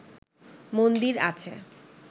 মন্দির আছে